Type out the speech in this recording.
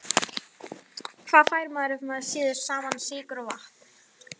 Hvað fær maður ef maður sýður saman sykur og vatn?